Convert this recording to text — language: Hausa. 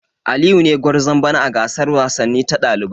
Aliyu ne gwarzon bana a gasar wasanni ta dalibai.